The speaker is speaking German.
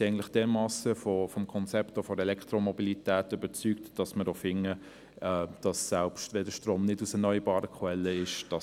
Wir sind wir dermassen vom Konzept der Elektromobilität überzeugt, dass wir für Elektroenergie sind, selbst wenn der Strom nicht aus erneuerbaren Quellen stammt.